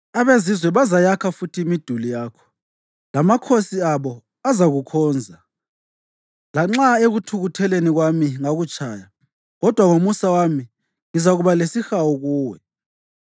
Abezizwe bazayakha futhi imiduli yakho, lamakhosi abo azakukhonza. Lanxa ekuthukutheleni kwami ngakutshaya, kodwa ngomusa wami ngizakuba lesihawu kuwe.